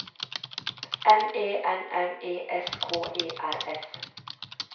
M E N N E S K E R S